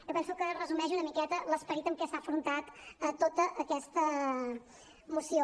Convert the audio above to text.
jo penso que resumeix una miqueta l’esperit amb què s’ha afrontat tota aquesta moció